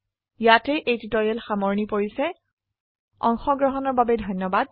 ইয়াতে এই টিউটৰীয়েল সামৰনি পৰিছে অংশগ্ৰহনৰ বাবে ধন্যবাদ